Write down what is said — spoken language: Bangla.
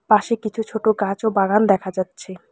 পাশে কিছু ছোটো গাছ ও বাগান দেখা যাচ্ছে।